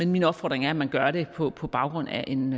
min opfordring er at man gør det på på baggrund af en